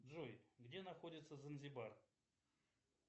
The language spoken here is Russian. джой где находится занзибар